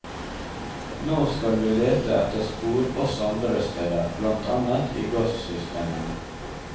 Nå skal vi lete etter spor også andre steder, blant annet i gassystemene.